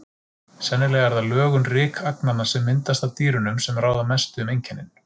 Sennilega er það lögun rykagnanna, sem myndast af dýrunum, sem ráða mestu um einkennin.